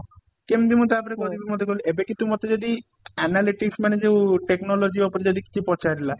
କେମିତି ମୁଁ ତା ପରେ ପରେ କରିବି ମତେ କହିଲୁ ଏବେ କିନ୍ତୁ ମତେ ଯଦି analytics ମାନେ ଯୋଉ technology ଉପରେ ଯଦି କିଛି ପଚାରିଲା